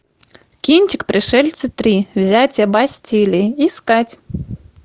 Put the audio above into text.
кинчик пришельцы три взятие бастилии искать